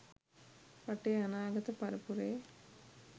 රටේ අනාගත පරපුරේ